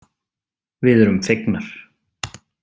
Við erum fegnar.